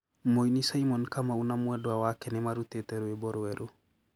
Muini Simon Kamau na mwendwa wake nimarutite rwimbo rweru